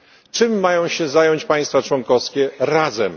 Czym mają się zająć państwa członkowskie razem?